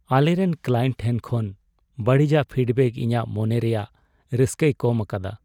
ᱟᱞᱮᱨᱮᱱ ᱠᱞᱟᱭᱮᱱᱴ ᱴᱷᱮᱱ ᱠᱷᱚᱱ ᱵᱟᱹᱲᱤᱡᱟᱜ ᱯᱷᱤᱰᱵᱮᱠ ᱤᱧᱟᱹᱜ ᱢᱚᱱᱮ ᱨᱮᱭᱟᱜ ᱨᱟᱹᱥᱠᱟᱹᱭ ᱠᱚᱢ ᱟᱠᱟᱫᱟ ᱾